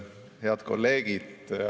Head kolleegid!